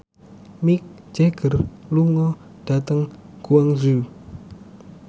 Mick Jagger lunga dhateng Guangzhou